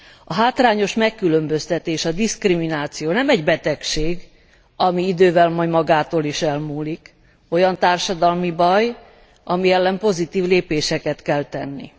A hátrányos megkülönböztetés, a diszkrimináció nem egy betegség, ami idővel majd magától is elmúlik, olyan társadalmi baj, ami ellen pozitív lépéseket kell tenni.